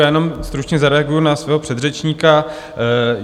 Já jenom stručně zareaguji na svého předřečníka.